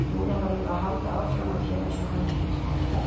Núna verðum við að halda áfram að gera eins og hann kenndi okkur.